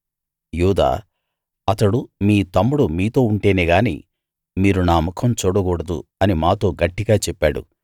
యూదా అతడు మీ తమ్ముడు మీతో ఉంటేనే గాని మీరు నా ముఖం చూడకూడదు అని మాతో గట్టిగా చెప్పాడు